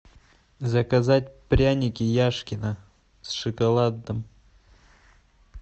заказать пряники яшкино с шоколадом